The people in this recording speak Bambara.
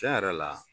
Tiɲɛ yɛrɛ la